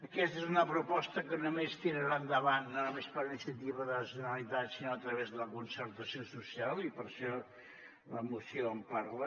aquesta és una proposta que només tirarà endavant no només per iniciativa de la generalitat sinó a través de la concertació social i per això la moció en parla